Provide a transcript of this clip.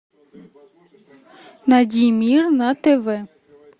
найди мир на тв